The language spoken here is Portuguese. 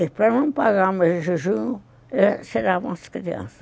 E para não pagar o mês de junho, tiravam as crianças.